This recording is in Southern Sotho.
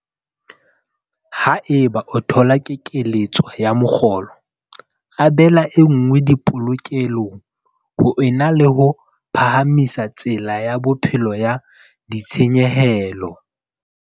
Haeba o thola kekeletso ya mokgolo, abela e nngwe dipolokelong ho e na le ho phahamisa tsela ya bophelo ya ditshenyehelo.